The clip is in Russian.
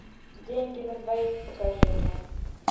деньги на двоих покажи мне